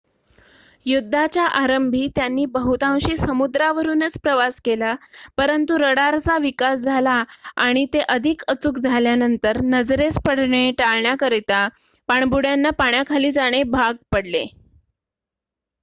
युद्धाच्या आरंभी त्यांनी बहुतांशी समुद्रावरुनच प्रवास केला परंतु रडारचा विकास झाला आणि ते अधिक अचूक झाल्यानंतर नजरेस पडणे टाळण्याकरिता पाणबुड्यांना पाण्याखाली जाणे भाग पडले